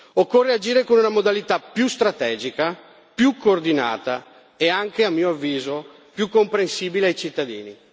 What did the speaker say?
Occorre agire con una modalità più strategica, più coordinata e anche, a mio avviso, più comprensibile ai cittadini.